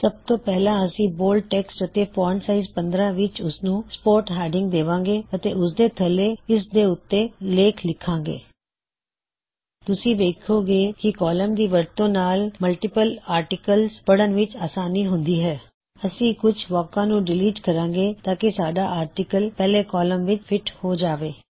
ਸਬ ਤੋਂ ਪਹਿਲਾ ਅਸੀ ਬੋਲਡ ਟੈੱਕਸਟ ਅਤੇ ਫੌਨਟ ਸਾਇਜ਼ 15 ਵਿੱਚ ਓਸਨੂੰ ਸਪੋਰਟਸ ਹੈਡਿਂਗ ਦੇਵਾਂਗੇ ਅਤੇ ਉਸਦੇ ਥੱਲੇ ਇਸ ਦੇ ਉੱਤੇ ਲੇਖ ਲਿਖਾਂਗੋ ਤੁਸੀਂ ਵੇਖੋਂਗੇ ਕੀ ਕੌਲਮਜ਼ ਦੀ ਵਰਤੋਂ ਨਾਲ ਮਲਟਿਪਲ ਆਰਟਿਕਲਜ਼ ਪੜ੍ਹਣ ਵਿੱਚ ਅਸਾਨੀ ਹੁੰਦੀ ਹੈ ਅਸੀ ਕੁਛ ਵਾਕਾਂ ਨੂੰ ਡਿਲੀਟ ਕਰਾਂਗੇ ਤਾਂਕੀ ਸਾਡਾ ਆਰਟਿਕਲ ਪਹਿਲੇ ਕੌਲਮ ਵਿੱਚ ਫਿਟ ਹੋ ਜਾਵੇ